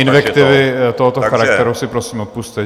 Invektivy tohoto charakteru si prosím odpusťte.